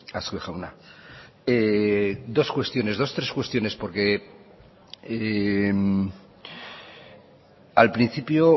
azkue jauna dos cuestiones dos tres cuestiones porque al principio